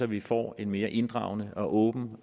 vi får en mere inddragende og åben